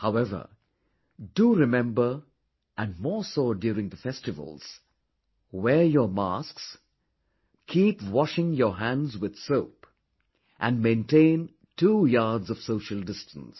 However, do remember and more so during the festivals wear your masks, keep washing your hands with soap and maintain two yards of social distance